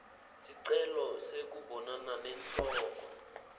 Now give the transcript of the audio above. sicelo sekubonana nenhloko